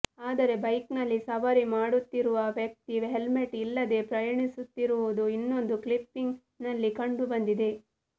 ಆದರೆ ಬೈಕ್ ನಲ್ಲಿ ಸವಾರಿ ಮಾಡುತ್ತಿರುವ ವ್ಯಕ್ತಿ ಹೆಲ್ಮೆಟ್ ಇಲ್ಲದೆ ಪ್ರಯಾಣಿಸುತ್ತಿರುವುದು ಇನ್ನೊಂದು ಕ್ಲಿಪ್ಪಿಂಗ್ ನಲ್ಲಿ ಕಂಡುಬಂದಿದೆ